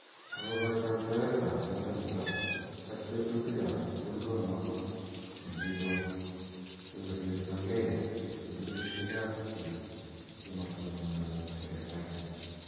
Ako kakoitoiet ab melekto ak tetutik ab sukul ko notok ne kikon siko sirta kei sukulishi ap chii chematonondochin serikalit.